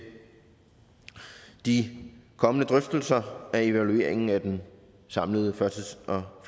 de kommende drøftelser af evalueringen af den samlede førtids og